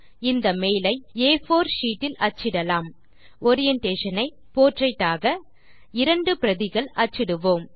இந்த மெயில் ஐ ஆ4 ஷீட் இல் அச்சிடலாம் ஓரியன்டேஷன் ஐ போர்ட்ரெய்ட் ஆக இரண்டு பிரதிகள் அச்சிடுவோம்